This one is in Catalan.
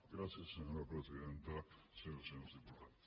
gràcies senyora presidenta senyores i senyors diputats